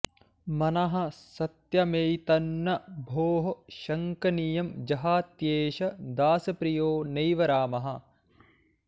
मनः सत्यमेतन्न भोः शङ्कनीयं जहात्येष दासप्रियो नैव रामः